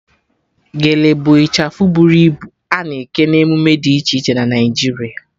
Gele bụ ịchafụ bụrụ ibu a na-eke na emume dị iche iche na Naịjiria